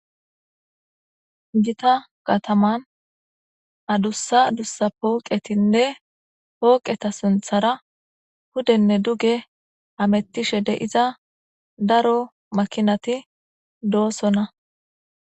Gita kataman adussa dussa pooqetinne hooqeta sinthara hudenne duge hamettishe de'iza daro makinati doosonna